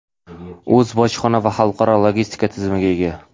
O‘z bojxona va xalqaro logistika tizimiga ega.